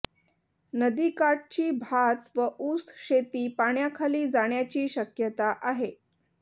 नदीकाठची भात व ऊस शेती पाण्याखाली जाण्याची शक्यता आहे